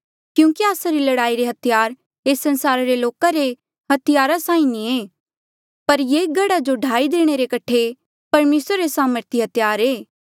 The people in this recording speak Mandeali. क्यूंकि आस्सा री लड़ाई रे हथियार एस संसारा रे लोका रे हथियारा साहीं नी ऐें पर ये गढ़ा जो ढाई देणे रे कठे परमेसरा रे सामर्थी हथियार ऐें